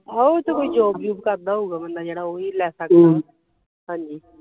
ਆਹੋ ਉਹ ਤਾ ਕੋਈ job ਜੂਬ ਕਰਦਾ ਹੋਊਗਾ ਬੰਦਾ ਜਿਹੜਾ ਓਹੀ ਲੈ ਸਕਦਾ ਵਾ ਹਾਂਜੀ